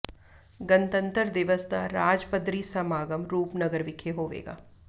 ਗਣਤੰਤਰ ਦਿਵਸ ਦਾ ਰਾਜ ਪੱਧਰੀ ਸਮਾਗਮ ਰੂਪਨਗਰ ਵਿਖੇ ਹੋਵੇਗਾ